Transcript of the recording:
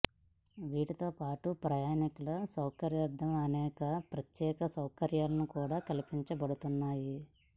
వీటితో పాటు ప్రయాణికుల సౌకర్యార్ధం అనేక ప్రత్యేక సౌకర్యాలను కూడా కల్పించబోతున్నారు